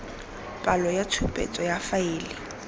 palo ya tshupetso ya faele